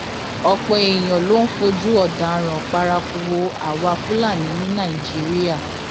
ọpọ èèyàn ló ń fojú ọdaràn paraku wo àwa fúlàní ní nàìjíra